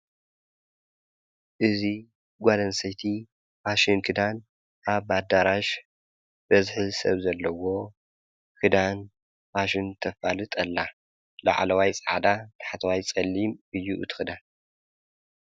እዙ ጓልንሳይቲ ፋሽን ክዳን ኣብ ፋዳራሽ በዝኂ ሰብ ዘለዎ ክዳን ባሽን ተፋልጥኣላ ለዓለዋይ ፃዕዳ ተሕተዋይ ጸሊም እዩ እቲ ኽዳን።